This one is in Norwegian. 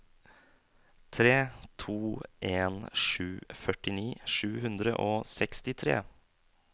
tre to en sju førtini sju hundre og sekstitre